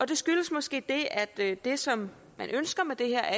det skyldes måske at det som man ønsker med det her